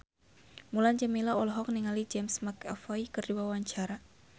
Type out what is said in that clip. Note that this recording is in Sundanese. Mulan Jameela olohok ningali James McAvoy keur diwawancara